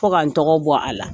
Fɔ k'an tɔgɔ bɔ a la